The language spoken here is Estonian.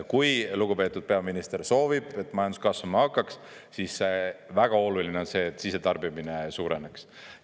Kui lugupeetud peaminister soovib, et majandus kasvama hakkaks, siis väga oluline on see, et sisetarbimine suureneks.